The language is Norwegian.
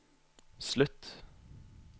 slutt